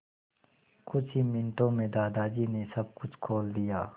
कुछ ही मिनटों में दादाजी ने सब कुछ खोल दिया